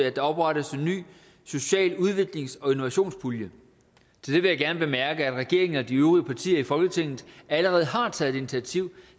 at der oprettes en social udviklings og innovationspulje til det vil jeg gerne bemærke at regeringen og de øvrige partier i folketinget allerede har taget initiativ